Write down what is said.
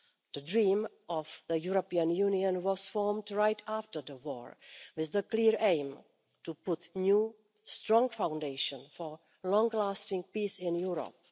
The dream of the European Union was formed right after the war, with the clear aim to create new, strong foundations for long lasting peace in Europe.